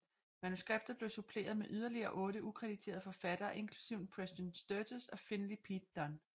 Manuskriptet blev suppleret med yderligere otte ukrediterede forfattere inklusiv Preston Sturges og Finley Peter Dunne